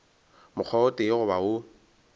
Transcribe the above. mokgwa o tee goba wo